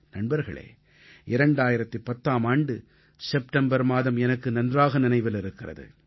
நண்பர்களே 2010ஆம் ஆண்டு செப்டெம்பர் மாதம் எனக்கு நன்றாக நினைவில் இருக்கிறது